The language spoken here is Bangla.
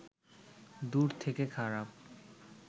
দূর থেকে খারাপ